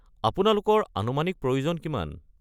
আপোনালোকৰ আনুমানিক প্ৰয়োজন কিমান?